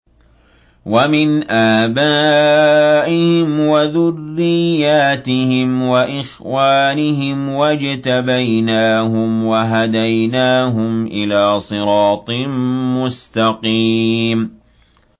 وَمِنْ آبَائِهِمْ وَذُرِّيَّاتِهِمْ وَإِخْوَانِهِمْ ۖ وَاجْتَبَيْنَاهُمْ وَهَدَيْنَاهُمْ إِلَىٰ صِرَاطٍ مُّسْتَقِيمٍ